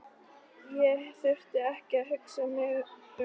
Ég þurfti ekki að hugsa mig um tvisvar.